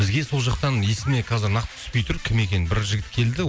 бізге сол жақтан есіме қазір нақты түспей тұр кім екенін бір жігіт келді